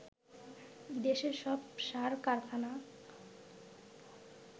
দেশের সব সার কারখানা